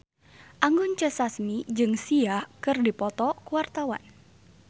Anggun C. Sasmi jeung Sia keur dipoto ku wartawan